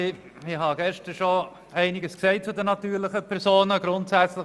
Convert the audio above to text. Ich habe gestern schon einiges zu den natürlichen Personen gesagt.